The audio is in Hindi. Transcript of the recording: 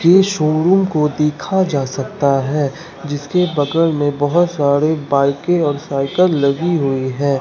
के शोरूम को देखा जा सकता है जिसके बगल में बहुत सारे बाईकें और साइकिल लगी हुई है।